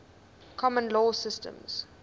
common law systems